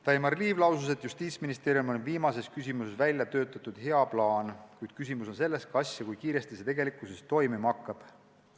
Daimar Liiv lausus, et Justiitsministeeriumil on viimases küsimuses välja töötatud hea plaan, kuid küsimus on selles, kas ja kui kiiresti see tegelikkuses toimima hakkab.